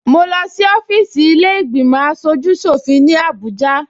Mo lọ sí ọfíìsì ilé ìgbìmò aṣojú ṣòfin ní Abuja